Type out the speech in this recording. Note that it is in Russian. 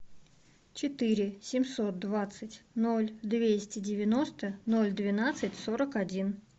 четыре семьсот двадцать ноль двести девяносто ноль двенадцать сорок один